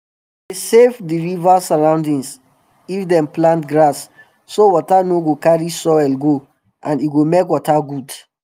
dem dey save d river surroundings if dem plant grass so water no go carry soil go and e go make water good